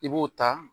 I b'o ta